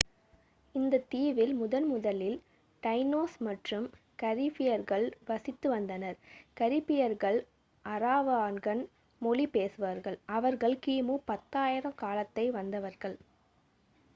இந்த தீவில் முதன்முதலில் டைனோஸ் மற்றும் கரீபியர்கள் வசித்து வந்தனர் கரீபியர்கள் அராவாகன் மொழி பேசுபவர்கள் அவர்கள் கிமு 10,000 காலத்தில் வந்தவர்கள்